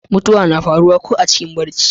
mutuwa na faruwa ko a cikin barci